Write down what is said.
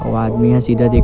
अउ आदमी ह सीधा देख--